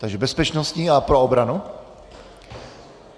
Takže bezpečnostní a pro obranu?